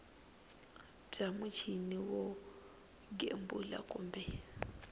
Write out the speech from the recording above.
bya muchini wo gembula kumbe